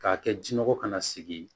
K'a kɛ jinɔgɔ kana sigi ye